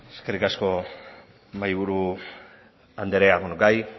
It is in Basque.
eskerrik asko mahaiburu andrea beno gai